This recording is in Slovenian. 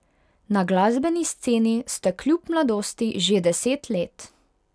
Na glasbeni sceni ste kljub mladosti že deset let.